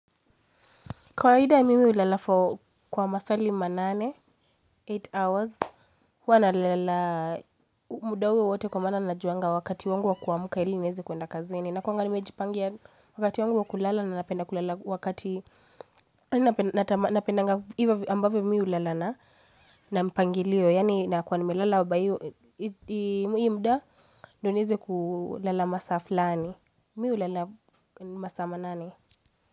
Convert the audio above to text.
Kawaida mimi hulala for kwa masali manane, eight hours, huwa nalala muda huo wote kwa maana najua wakati wangu wa kuamka ili niweze kuenda kazini. Nakuanga nimejipangia wakati wangu wa kulala na napenda kulala wakati napendanga ambavyo mimi hulala na mpangilio. Yaani na kuwa nimelala kwa hio muda ndio niweze kulala masasa fulani. Mimi hulala masaa manane.